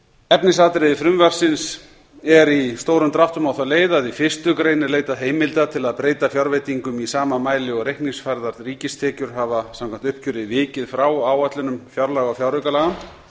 efnisatriði frumvarpsins er í stórum dráttum á þá leið að í fyrstu grein er leitað heimilda til að breyta fjárveitingum í sama mæli og reikningsfærðar ríkistekjur hafa samkvæmt uppgjöri vikið frá áætlunum fjárlaga og fjáraukalaga